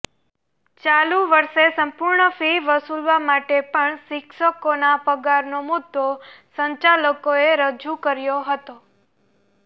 ચાલુ વર્ષે સંપૂર્ણ ફી વસૂલવા માટે પણ શિક્ષકોના પગારનો મુદ્દો સંચાલકોએ રજૂ કર્યો હતો